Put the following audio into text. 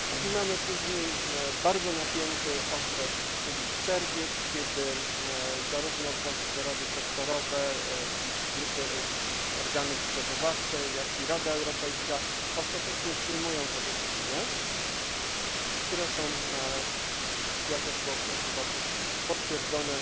Mamy później bardzo napięty okres, czyli czerwiec, kiedy zarówno właściwe rady sektorowe, ich grupy, organy przygotowawcze, jak i Rada Europejska ostatecznie przyjmują te wytyczne, które są jak było w tym przypadku ostatecznie potwierdzone